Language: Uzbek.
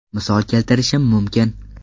Misol keltirishim mumkin.